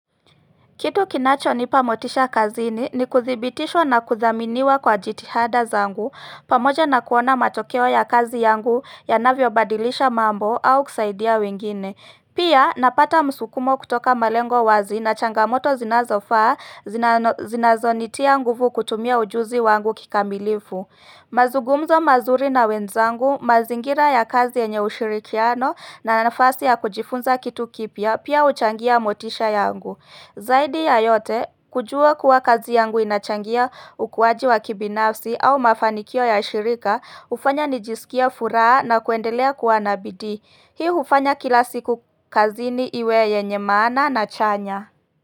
Kitu kinacho nipa motisha kazini ni kuthibitishwa na kuthaminiwa kwa jitihada zangu pamoja na kuona matokeo ya kazi yangu yanavyo badilisha mambo au kusaidia wengine. Pia napata msukumo kutoka malengo wazi na changamoto zinazofaa zinazonitia nguvu kutumia ujuzi wangu kikamilifu. Mazugumzo mazuri na wenzangu mazingira ya kazi yenye ushirikiano na nafasi ya kujifunza kitu kipya pia huchangia motisha yangu. Zaidi ya yote, kujua kuwa kazi yangu inachangia ukuwaji wa kibinafsi au mafanikio ya shirika, hufanya nijisikie furaha na kuendelea kuwa nabidii. Hii hufanya kila siku kazini iwe yenye maana na chanya.